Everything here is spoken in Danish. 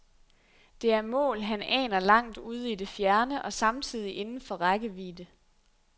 Det er mål, han aner langt ude i det fjerne og samtidig inden for rækkevidde.